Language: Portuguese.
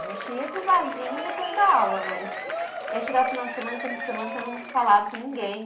A gente ia para o barzinho depois da aula, mas. E aí chegava o final de semana, tinha fim de semana que eu não falava com ninguém.